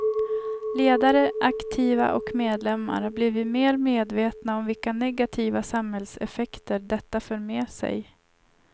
Ledare, aktiva och medlemmar har blivit mer medvetna om vilka negativa samhällseffekter detta för med sig.